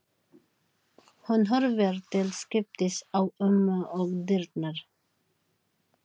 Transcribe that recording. Hún horfir til skiptis á ömmu og dyrnar.